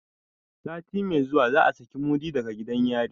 Sati mai zuwa za a saki mudi daga gidan yari.